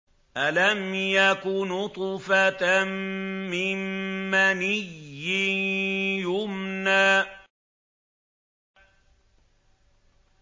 أَلَمْ يَكُ نُطْفَةً مِّن مَّنِيٍّ يُمْنَىٰ